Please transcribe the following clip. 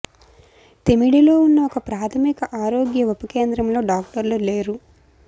తిమిడిలో ఉన్న ఒక ప్రాథమిక ఆరోగ్య ఉప కేంద్రంలో డాక్టర్లు లేరు